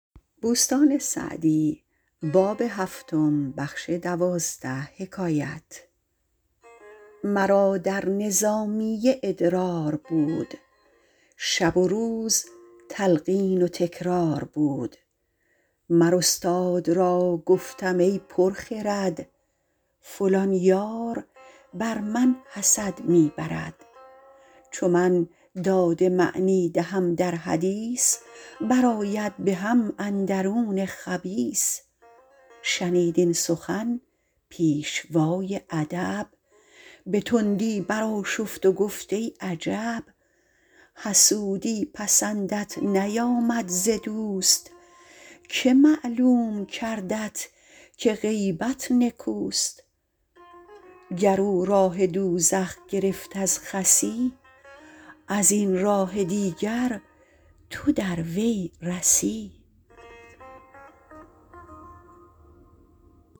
مرا در نظامیه ادرار بود شب و روز تلقین و تکرار بود مر استاد را گفتم ای پر خرد فلان یار بر من حسد می برد چو من داد معنی دهم در حدیث بر آید به هم اندرون خبیث شنید این سخن پیشوای ادب به تندی برآشفت و گفت ای عجب حسودی پسندت نیامد ز دوست که معلوم کردت که غیبت نکوست گر او راه دوزخ گرفت از خسی از این راه دیگر تو در وی رسی